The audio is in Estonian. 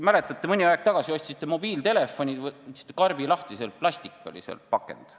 Mäletate, mõni aeg tagasi ostsite mobiiltelefoni, võtsite karbi lahti, sees oli plastpakend.